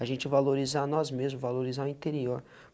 A gente valorizar nós mesmos, valorizar o interior.